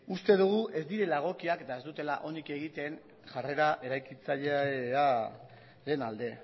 uste dugu ez direla egokiak eta ez dutela onik egiten jarrera eraikitzailea den alde